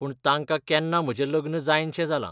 पूण तांकां केन्ना म्हजें लग्न जायनशें जालां.